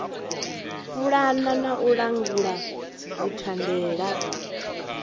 pulana na u langula dzithandela